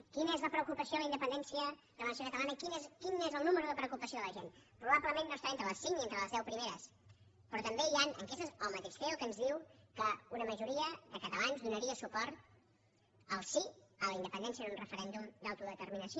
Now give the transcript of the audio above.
quina és la preocupació per la independència de la nació catalana quin és el número de preocupació de la gent probablement no està ni entre les cinc ni entre les deu primeres però també hi han enquestes del mateix ceo que ens diuen que una majoria de catalans donaria suport al sí a la independència en un referèndum d’autodeterminació